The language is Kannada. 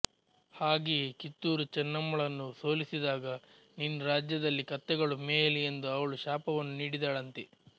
ಹಾಗೆಯೆ ಕಿತ್ತೂರು ಚೆನ್ನಮ್ಮಳನ್ನು ಸೋಲಿಸಿದಾಗ ನಿನ್ನ್ ರಾಜ್ಯದಲ್ಲಿ ಕತ್ತೆಗಳು ಮೇಯಲಿ ಎಂದು ಅವಳು ಶಾಪವನ್ನು ನೀಡಿದಳಂತೆ